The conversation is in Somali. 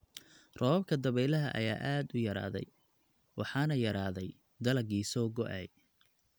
Roobabka dabeylaha ayaa aad u yaraaday, waxaana yaraaday dalaggii soo go�ay.